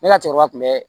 Ne ka cɛkɔrɔba tun bɛ